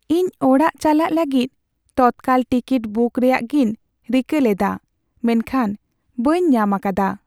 ᱤᱧ ᱚᱲᱟᱜ ᱪᱟᱞᱟᱜ ᱞᱟᱹᱜᱤᱫ ᱛᱚᱛᱠᱟᱞ ᱴᱤᱠᱤᱴ ᱵᱩᱠ ᱨᱮᱭᱟᱜᱤᱧ ᱨᱤᱠᱟᱹ ᱞᱮᱫᱟ ᱢᱮᱱᱠᱷᱟᱱ ᱵᱟᱹᱧ ᱧᱟᱢ ᱟᱠᱟᱫᱟ ᱾